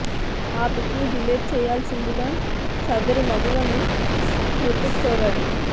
ఆ పిక్ని డిలీట్ చేయాల్సిందిగా సదరు మగువను హృతిక్ కోరాడు